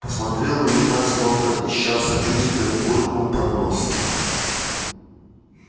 посмотрел на меня словно ища сочувствия буркнул под нос